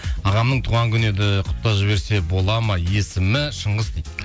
ағамның туған күні еді құттықтап жіберсе болады ма есімі шыңғыс дейді